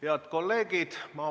Head kolleegid!